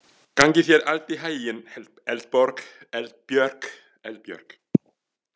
Gangi þér allt í haginn, Eldbjörg.